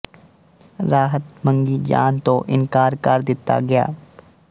ਰਾਹਤ ਮੰਗੀ ਜਾਣ ਤੋਂ ਇਨਕਾਰ ਕਰ ਦਿੱਤਾ ਗਿਆ